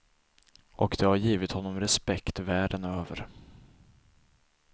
Och det har givit honom respekt världen över.